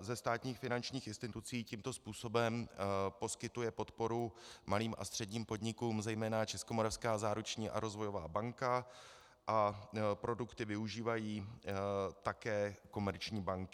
ze státních finančních institucí tímto způsobem poskytuje podporu malým a středním podnikům zejména Českomoravská záruční a rozvojová banka a produkty využívají také komerční banky.